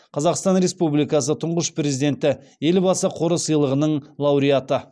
қазақстан республикасы тұңғыш президенті елбасы қоры сыйлығының лауреаты